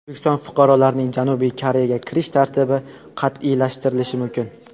O‘zbekiston fuqarolarining Janubiy Koreyaga kirish tartibi qat’iylashtirilishi mumkin.